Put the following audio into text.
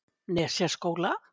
Nesjaskóla